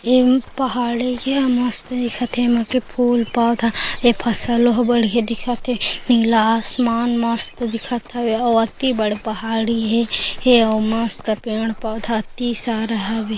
ये पहाड़ ही के ये मस्त दिखत हे एमे के फुल पौधा ये फसल हो बढ़िया दिखत हे नीला आसमान मस्त दिखत हवे अउ अति बड़े पहाड़ी हे ए अउ मस्त हे पेड़ पौधा अति सारा हवे।